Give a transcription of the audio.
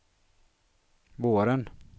våren